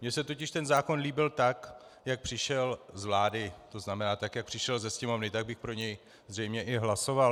Mně se totiž ten zákon líbil tak, jak přišel z vlády, to znamená, tak jak přišel do Sněmovny, tak bych pro něj zřejmě i hlasoval.